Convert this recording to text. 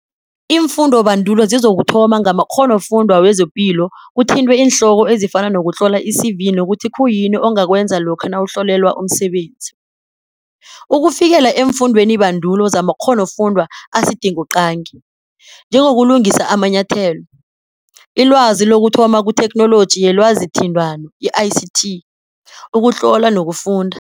Iimfundobandulo zizokuthoma ngamakghonofundwa wezepilo kuthintwe iinhloko ezifana nokutlola i-CV nokuthi khuyini ongakwenza lokha nawuhlolelwa umsebenzi ukufikela eemfundwenibandulo zamakhonofundwa asidingoqangi, njengokulungisa amanyathelo, ilwazi lokuthoma kuThekhnoloji yeLwazithintano, i-ICT, ukutlola nokufunda.